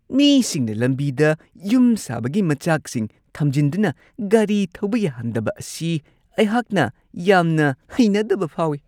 ꯃꯤꯁꯤꯡꯅ ꯂꯝꯕꯤꯗ ꯌꯨꯝ ꯁꯥꯕꯒꯤ ꯃꯆꯥꯛꯁꯤꯡ ꯊꯝꯖꯤꯟꯗꯨꯅ ꯒꯥꯔꯤ ꯊꯧꯕ ꯌꯥꯍꯟꯗꯕ ꯑꯁꯤ ꯑꯩꯍꯥꯛꯅ ꯌꯥꯝꯅ ꯍꯩꯅꯗꯕ ꯐꯥꯎꯋꯤ ꯫